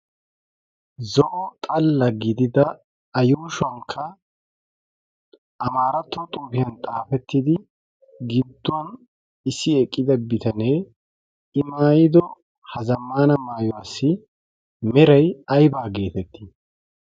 zo'o xalla gidida ayuushuwankka amaaratto xoufiyan xaafettidi gidduwan issi eqqida bitanee i maayido ha zammana maayuwaassi meray aybaa geetettii?